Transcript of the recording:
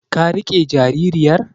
Ka riƙe jaririyar?